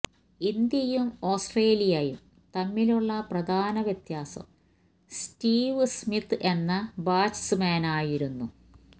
ഇന്ത്യയും ഓസ്ട്രേലിയയും തമ്മിലുള്ള പ്രധാന വ്യത്യാസം സ്റ്റീവ് സ്മിത്ത് എന്ന ബാറ്റ്സ്മാനായിരുന്നു